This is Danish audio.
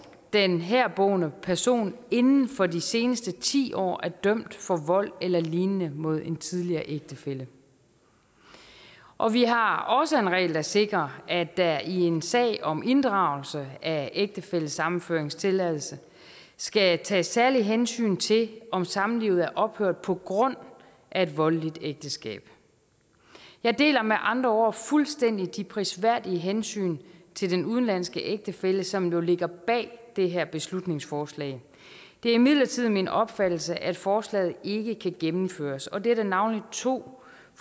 den herboende person inden for de seneste ti år er dømt for vold eller lignende mod en tidligere ægtefælle og vi har også en regel der sikrer at der i en sag om inddragelse af ægtefællesammenføringstilladelse skal tages særligt hensyn til om samlivet er ophørt på grund af et voldeligt ægteskab jeg deler med andre ord fuldstændig de prisværdige hensyn til den udenlandske ægtefælle som jo ligger bag det her beslutningsforslag det er imidlertid min opfattelse at forslaget ikke kan gennemføres og det er der navnlig to